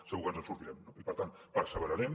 segur que ens en sortirem no i per tant perseverarem